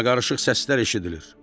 Qarmaqarışıq səslər eşidilir.